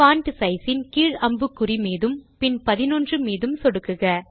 font size ன் கீழ் அம்புக்குறி மீதும் பின் பதினொன்று மீதும் சொடுக்குக